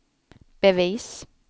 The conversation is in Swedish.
bevis